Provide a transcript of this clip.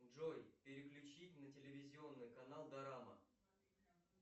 джой переключи на телевизионный канал дорама